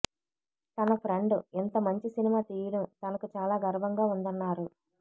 తన ఫ్రెండ్ ఇంత మంచి సినిమా తీయడం తనకు చాలా గర్వంగా ఉందన్నారు